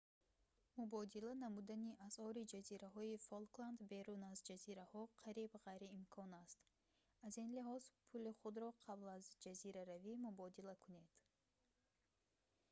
мубодила намудани асъори ҷазираҳои фолкланд берун аз ҷазираҳо қариб ғайриимкон аст аз ин лиҳоз пули худро қабл аз ҷазираравӣ мубодила кунед